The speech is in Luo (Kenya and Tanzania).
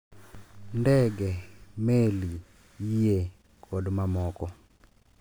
Ndege, meli, yie, kod mamoko.